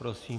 Prosím.